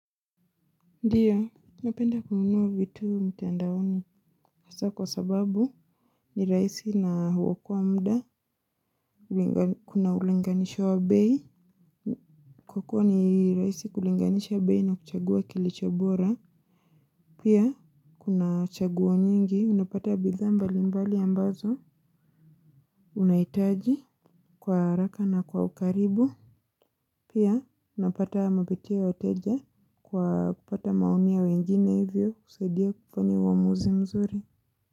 Ndiyo, napenda kununua vitu mtandaoni. Hasa kwa sababu ni rahisi na huokoa mda. Kuna ulinganisho wa bei. Kwa kuwa ni rahisi kulinganisha bei na kuchagua kilicho bora. Pia, kuna chaguo nyingi. Unapata bidhaa mbali mbali ambazo. Unahitaji kwa haraka na kwa ukaribu. Pia, unapata mapitia wateja. Kwa kupata maoni ya wengine hivyo. Kusaidia kufanya uamuzi mzuri.